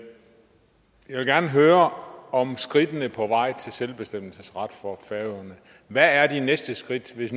gerne høre om skridtene på vej til selvbestemmelsesret for færøerne hvad er de næste skridt hvis